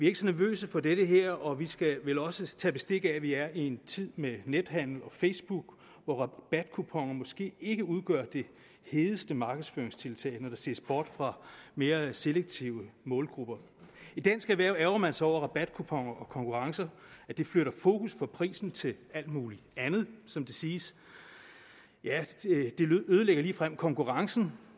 ikke så nervøse for det her og vi skal vel også tage bestik af at vi er i en tid med nethandel og facebook hvor rabatkuponer måske ikke udgør det hedeste markedsføringstiltag når der ses bort fra mere selektive målgrupper i dansk erhverv ærgrer man sig over at rabatkuponer og konkurrencer flytter fokus fra prisen til alt muligt andet som det siges ja det ødelægger ligefrem konkurrencen